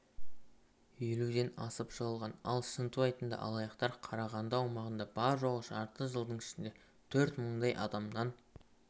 елуден асып жығылған ал шынтуайтында алаяқтар қарағанды аумағында бар-жоғы жарты жылдың ішінде төрт мыңдай адамнан